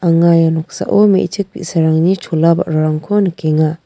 anga ia noksao me·chik bi·sarangni chola ba·rarangko nikenga.